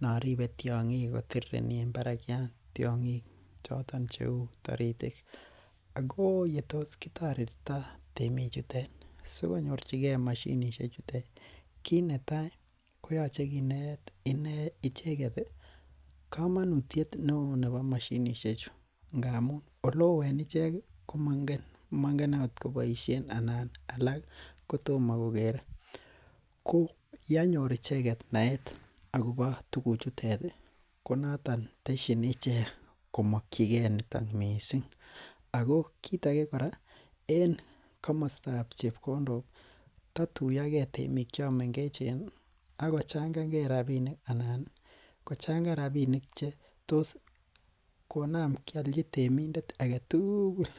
noribe tiong'ik kotirireni en barakyat, tiong'ik choton cheu toritik, ako yetos kitoretito temik chutet sikonyor mashinisiek chutet, kiit netai koyoche kineet icheget ii komonutiet neo nebo mashinisiechu ngamin oleo en ichek ii ko moingen, mongen okot koboisien anan alak kotomokogere, ko yenyor icheget naet akobo tuguchutet ii konoton tesyin ichek komokyigen niton missing, ako kiit age kora en komostab chebkondok ii ko taituyogen temik chemengechen akochang'angee rabinik anan kochangan rabinik che tos konam kiolji temindet agetugul.